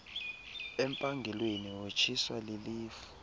empangelweni wothuswa lilifu